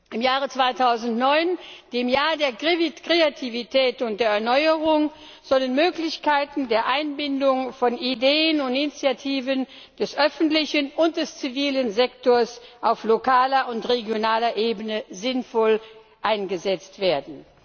Im Jahre 2009, dem Jahr der Kreativität und der Erneuerung, sollen Möglichkeiten der Einbindung von Ideen und Initiativen des öffentlichen und des zivilen Sektors auf lokaler und regionaler Ebene sinnvoll eingesetzt werden.